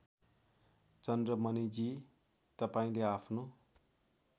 चन्द्रमणिजी तपाईँले आफ्नो